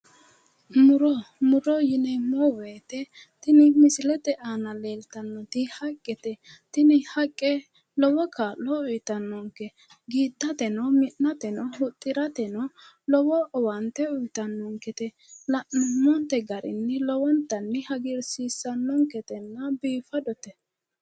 Muro. Muro yineemmo woyite tini misilete aana leeltannoti haqqete. Tini haqqe lowo kaa'lo uyitannonke. Giidhateno mi'nateno huxxirateno lowo owaante uyitannonkete. La'nummonte garinni lowontanni hagiirsiissannonketenna biifadote.